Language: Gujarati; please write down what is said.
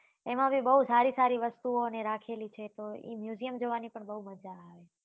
એમાં બી બઉ સારી સારી વસ્તુ ઓ ને રાખેલી છે તો એ museum જવા ની પણ બઉ મજા આવે